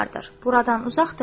Buradan uzaqdırmı?” – dedi.